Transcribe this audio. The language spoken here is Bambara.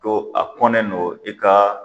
To a kɔnnen don i ka.